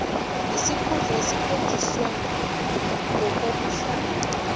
nesikhundla esikhonjiswe ngokobuhlanga